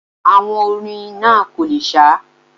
Àwọn orin náà kò le sá